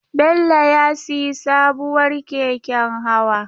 Bello ya sayi sabuwar keken hawa.